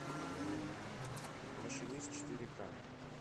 машинист четыре к